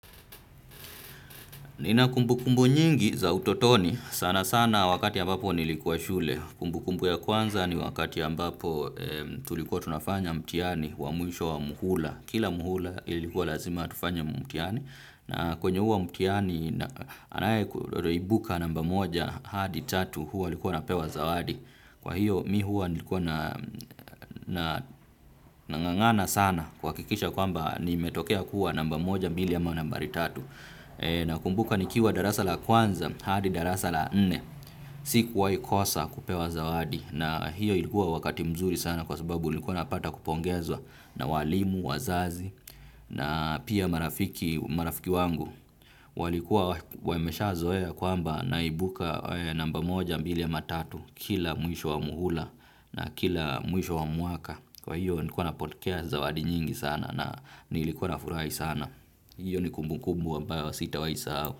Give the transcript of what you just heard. Nina kumbukumbu nyingi za utotoni. Sana sana wakati ambapo nilikuwa shule. Kumbukumbu ya kwanza ni wakati ambapo tulikuwa tunafanya mtihani wa mwisho wa muhula kila muhula ilikuwa lazima tufanye mtihani. Na kwenye huo mtihani anayeibuka namba moja hadi tatu huwa alikuwa anapewa zawadi. Kwa hiyo mimi huwa nilikuwa na nang'ang'ana sana kuhakikisha kwamba nimetokea kuwa namba moja mbili ama nambari tatu. Nakumbuka nikiwa darasa la kwanza hadi darasa la nne. Sikuwahi kosa kupewa zawadi na hiyo ilikuwa wakati mzuri sana kwa sababu nilikuwa napata kupongezwa na walimu, wazazi na pia marafiki marafiki wangu. Walikuwa wameshazoea kwamba naibuka namba moja mbili ama tatu kila mwisho wa muhula na kila mwisho wa mwaka. Kwa hiyo nilikuwa napokea zawadi nyingi sana na nilikuwa nafurahi sana. Iyo ni kumbukumbu ambayo sitawahi sahau.